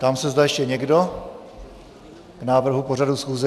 Ptám se, zda ještě někdo k návrhu pořadu schůze.